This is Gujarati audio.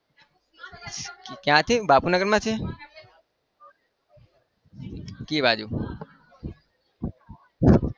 ક્યાંથી બાપુનગરમાં છે? કઈ બાજુ?